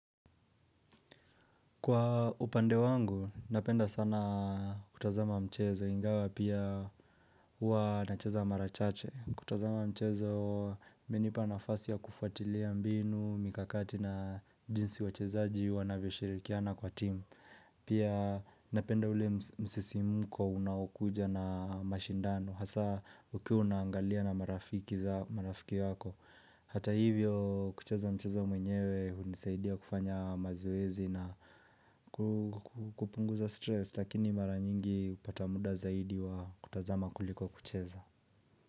Kwa upande wangu, napenda sana kutazama mchezo, ingawa pia huwa nacheza mara chache. Kutazama mchezo, imenipa nafasi ya kufuatilia mbinu, mikakati na jinsi wachezaji, wanavyo shirikiana kwa team. Pia napenda ule msisimko unaokuja na mashindano, hasa ukiwa unaangalia na marafiki wako. Hata hivyo kucheza mchezo mwenyewe hunisaidia kufanya mazoezi na kupunguza stress Lakini mara nyingi hupata muda zaidi wa kutazama kuliko kucheza.